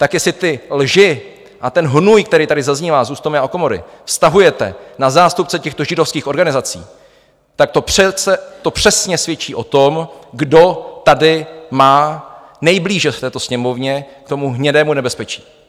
Tak jestli ty lži a ten hnůj, který tady zaznívá z úst Tomia Okamury, vztahujete na zástupce těchto židovských organizací, tak to přesně svědčí o tom, kdo tady má nejblíže v této Sněmovně k tomu hnědému nebezpečí.